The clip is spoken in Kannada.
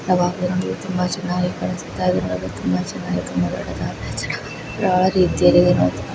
ಯಾವ ರೀತಿಯಲ್ಲಿ ತುಂಬಾ ಚೆನ್ನಾಗಿ ಕಾಣಿಸುತ್ತ ಇದೆ ತುಂಬಾ ಚೆನ್ನಾಗಿ ಕಾಣಿಸುತ್ತಿದೆ.